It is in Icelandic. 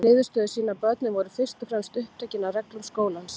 Niðurstöður sýna að börnin voru fyrst og fremst upptekin af reglum skólans.